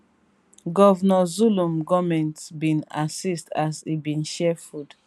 govnor zulum goment bin assist as e bin share food